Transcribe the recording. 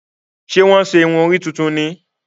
Ṣe wọn ṣe irun orí tuntun ní?